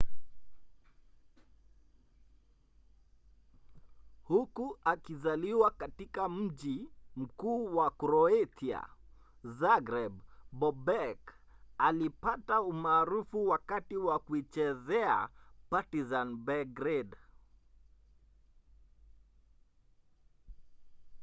huku akizaliwa katika mji mkuu wa kroatia zagreb bobek alipata umaarufu wakati wa kuichezea partizan belgrade